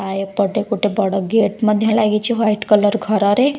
ଆ ଏପଟେ ଗୋଟେ ବଡ ଗେଟ୍ ମଧ୍ୟ ଲାଗିଛି ହ୍ୱାଇଟ୍ କଲର୍ ଘରରେ ।